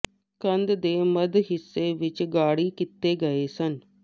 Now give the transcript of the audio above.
ਕੰਧ ਦੇ ਮੱਧ ਹਿੱਸੇ ਵਿਚ ਗਾੜ੍ਹੀ ਕੀਤੇ ਗਏ ਸਨ